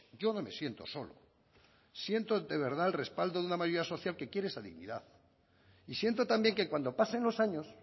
yo no me siento solo siento de verdad el respaldo de una mayoría social que quiere esa dignidad y siento también que cuando pasen los años